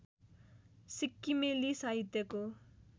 सिक्किमेली साहित्यको